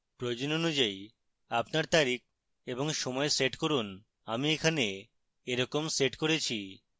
প্রয়োজন অনুযায়ী আপনার তারিখ এবং সময় set করুন আমি এখানে এরকম set করেছি